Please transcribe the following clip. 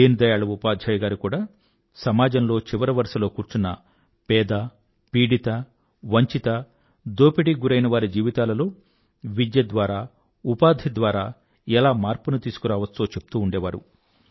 దీన్ దయాళ్ ఉపాధ్యాయ్ గారు కూడా సమాజంలో చివరి వరుసలో కూచున్న పేద పీడితవంచిత దోపిడీకి గురైనవారి జీవితాలలో విద్య ద్వారా ఉపాధి ద్వారా ఎలా మార్పుని తీసుకురావచ్చో చెప్తూ ఉండేవారు